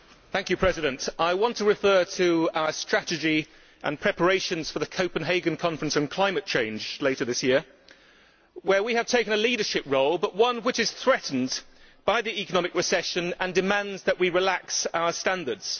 Madam President, I want to refer to our strategy and preparations for the Copenhagen Conference on climate change later this year, where we have taken a leadership role, but one which is threatened by the economic recession and demands that we relax our standards.